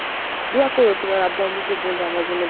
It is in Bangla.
দোয়া কোরো তোমার আব্বু আম্মুকে বলো আমার জন্য